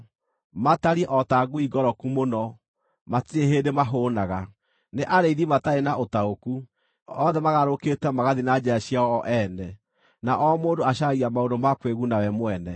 Matariĩ o ta ngui ngoroku mũno; matirĩ hĩndĩ mahũũnaga. Nĩ arĩithi matarĩ na ũtaũku; othe magarũrũkĩte magathiĩ na njĩra ciao o ene, na o mũndũ acaragia maũndũ ma kwĩguna we mwene.